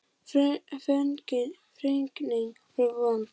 Fregnin var vond.